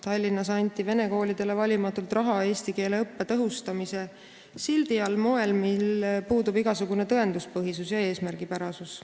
Tallinnas anti vene koolidele valimatult raha eesti keele õppe tõhustamise sildi all, seda moel, millel puudub igasugune tõenduspõhisus ja eesmärgipärasus.